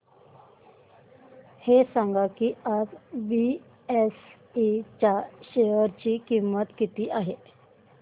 हे सांगा की आज बीएसई च्या शेअर ची किंमत किती आहे